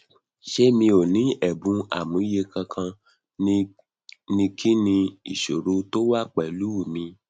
se mi o ni ebun amuye kankan ni ki ni isoro to wa pelu mi